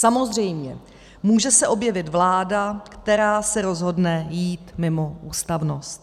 Samozřejmě může se objevit vláda, která se rozhodne jít mimo ústavnost.